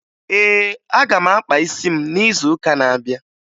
Ee, aga m akpa isi m n'izuụka na-abịa